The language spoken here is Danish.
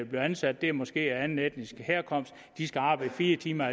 bliver ansat er måske af anden etnisk herkomst de skal arbejde fire timer